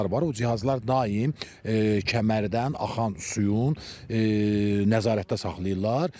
O cihazlar daim kəmərdən axan suyun nəzarətdə saxlayırlar.